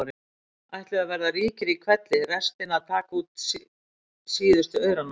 ætluðu að verða ríkir í hvelli- restin að taka út síðustu aurana.